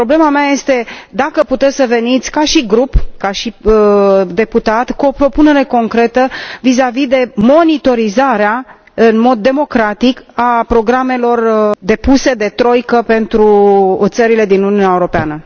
Problema mea este dacă puteți să veniți ca și grup, ca și deputat, cu o propunere concretă vizavi de monitorizarea, în mod democratic, a programelor depuse de troică pentru țările din Uniunea Europeană?